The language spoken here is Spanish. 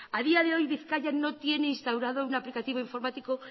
a día de hoy bizkaia no tiene instaurado un aplicativo informático